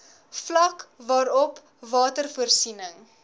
vlak waarop watervoorsiening